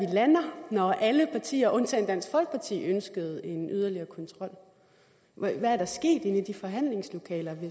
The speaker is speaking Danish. lander når alle partier undtagen dansk folkeparti ønskede en yderligere kontrol hvad er der sket inde i de forhandlingslokaler